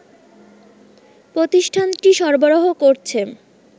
প্রতিষ্ঠানটি সরবরাহ করছে